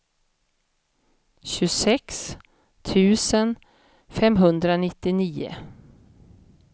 tjugosex tusen femhundranittionio